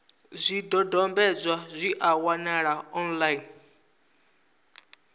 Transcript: zwidodombedzwa zwi a wanalea online